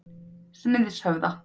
Smiðshöfða